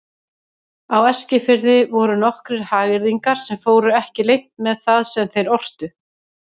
Á Eskifirði voru nokkrir hagyrðingar sem fóru ekki leynt með það sem þeir ortu.